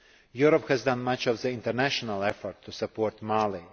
Europe has done much of the international effort to support Mali.